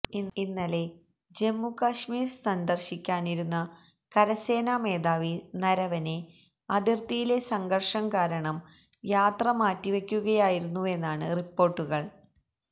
ഇന്നലെ ജമ്മു കാശ്മീര് സന്ദര്ശിക്കാനിരുന്ന കരസേനാ മേധാവി നരവനെ അതിര്ത്തിയിലെ സംഘര്ഷം കാരണം യാത്ര മാറ്റിവെയ്ക്കുകയായിരുന്നുവെന്നാണ് റിപ്പോര്ട്ടുകള്